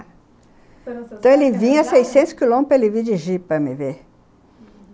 Então, ele vinha a seiscentos quilômetros, ele vinha de Jeep para me ver, uhum.